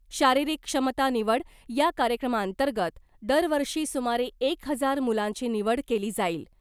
शारिरीक क्षमता निवड या कार्यक्रमांतर्गत दरवर्षी सुमारे एक हजार मुलांची निवड केली जाईल .